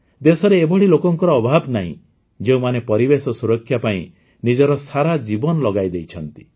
ଦେଶରେ ଏଭଳି ଲୋକଙ୍କର ଅଭାବ ନାହିଁ ଯେଉଁମାନେ ପରିବେଶ ସୁରକ୍ଷା ପାଇଁ ନିଜର ସାରା ଜୀବନ ଲଗାଇ ଦେଇଥାନ୍ତି